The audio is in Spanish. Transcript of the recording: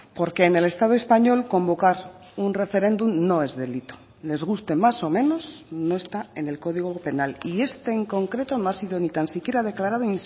porque en el estado español convocar un referéndum no es delito les guste más o menos no está en el código penal y este en concreto no ha sido ni tan siquiera declarado